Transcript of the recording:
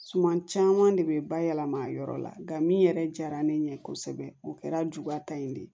Suman caman de bɛ bayɛlɛma yɔrɔ la nka min yɛrɛ diyara ne ɲɛ kosɛbɛ o kɛra juguya ta in de ye